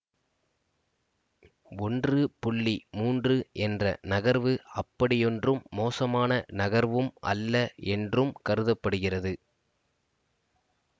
ஒன்று மூன்று என்ற நகர்வு அப்படியொன்றும் மோசமான நகர்வும் அல்ல என்றும் கருத படுகிறது